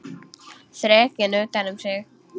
Þrekinn utan um sig.